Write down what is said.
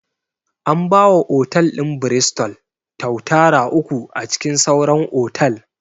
An ba wa otal ɗin 'Bristol' tuatara uku a cikin sauran otal